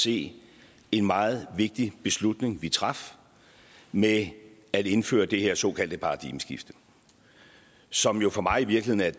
se en meget vigtig beslutning vi traf med at indføre det her såkaldte paradigmeskifte som jo for mig i virkeligheden